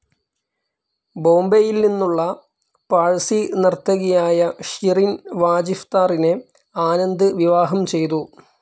ബോംബെയിൽ നിന്നുള്ള പാഴ്‌സി നർത്തകിയായ ഷിറിൻ വാജിഫ്‌താറിനെ ആനന്ദ് വിവാഹം ചെയ്തു.